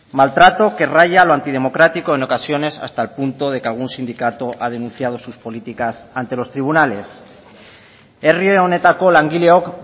maltrato que raya lo antidemocrático en ocasiones hasta el punto de que algún sindicato ha denunciado sus políticas ante los tribunales herri honetako langileok